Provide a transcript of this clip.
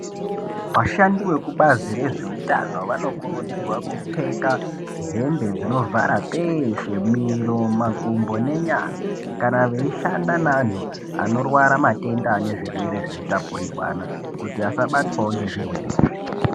Vashandi vekubazi rezveutano vanokurudzirwa kupfeka hembe dzinovhara peshe miro majumbo nenyara kana veishanda nevanhu vane zvirwere zvinotapurirwana kuti vaSabatwawo ngezvirwere izvi.